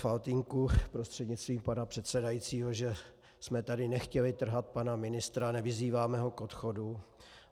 Faltýnku prostřednictvím pana předsedajícího, že jsme tady nechtěli trhat pana ministra, nevyzýváme ho k odchodu.